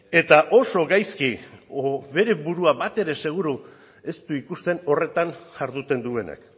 eta oso gaizki edo bere burua batere seguru ez du ikusten horretan jarduten duenak